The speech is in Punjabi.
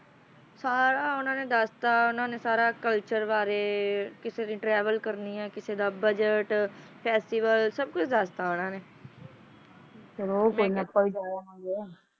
ਤਾਣਾ ਆਂਦਾ ਥਾਣਾ ਨਕਾਰਾ ਕਰਨ ਵਾਲੇ ਰੰਗਕਰਮੀਆਂ